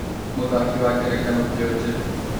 Mũthaki wa ngerekano kĩ onje.